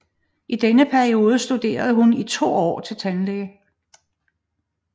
I denne periode studerer hun i to år til tandlæge